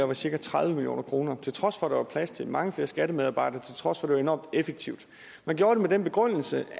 var cirka tredive million kroner til trods for at der var plads til mange flere skattemedarbejdere til trods for at det var enormt effektivt man gjorde det med den begrundelse